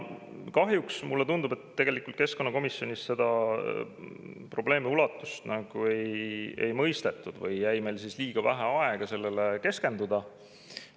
Kahjuks mulle tundub, et tegelikult keskkonnakomisjonis seda probleemi ulatust ei mõistetud või jäi meil liiga vähe aega sellele keskenduda.